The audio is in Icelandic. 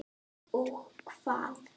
Og hvað.?